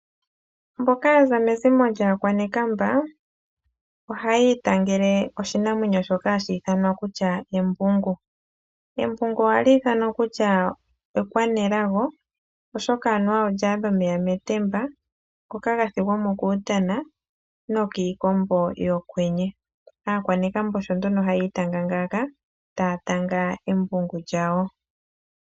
Mboka yaza mezimo lyaakwanekamba, ohaya itangele oshinamwenyo shoka hashi ithana kutya embungu. Embungu oha li ithanwa kutya ekwanelago oshoka anuwa olya adha omeya metemba ngoka ga thigwa mo kuutana no kiikombo yo kwenye. Aakwanekamba osho nduno haya itanga ngaaka, taya tanga embungu lyawo.